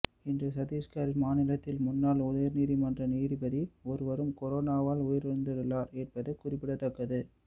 இன்று சத்தீஷ்கர் மாநிலத்தின் முன்னாள் உயர்நீதிமன்ற நீதிபதி ஒருவரும் கொரோனாவால் உயிரிழந்துள்ளார் என்பது குறிப்பிடத்தக்கது